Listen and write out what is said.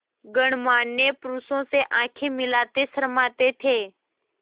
गणमान्य पुरुषों से आँखें मिलाते शर्माते थे